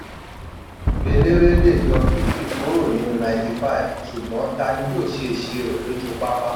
eléré le yọ fifty kúrò nínú ninety-five ṣùgbọ́n tani yó ṣe ìṣirò lójú pápá?